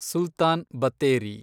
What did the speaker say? Sultan Battery